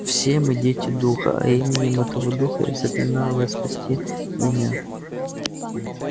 все мы дети духа а именем этого духа я заклинаю вас спасти меня